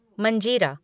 मंजीरा